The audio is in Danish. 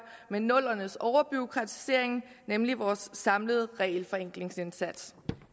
med nullerne s overbureaukratisering nemlig vores samlede regelforenklingsindsats